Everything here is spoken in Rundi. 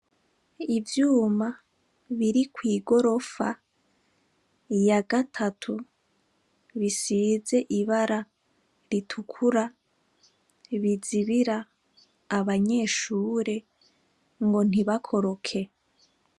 Ivyuma biri kw'igorofa ya gatatu bisize ibara ritukura bizibira abanyeshure ngo ntibakoroke.